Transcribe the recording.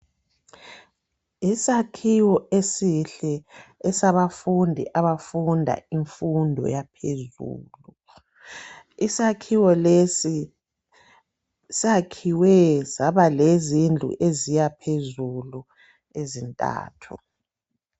Isakhiwo esihle esabafundi abafunda imfundo yaphezulu. Isakhiwo lesi sakhiwe saba lezindlu eziya phezulu ezintathu.